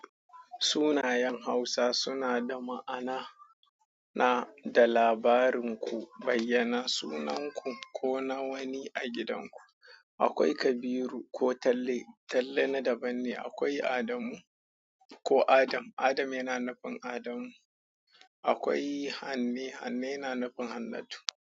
Sunayen Hausa suna da ma'ana, na da labarin ku, bayyana sunan ku ko na wani a gidan ku. Akwai Kabiru ko Talle, Talle na daban ne. Akwai Adamu ko Adam, Adam yana nafin Adamu. Akwai Hanne, Hanne yana nufin Hannatu.